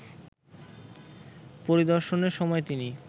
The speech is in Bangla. পরিদর্শনের সময় তিনি